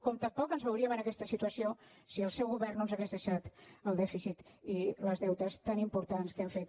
com tampoc no ens veuríem en aquesta situació si el seu govern no ens hagués dei·xat el dèficit i els deutes tan importants que han fet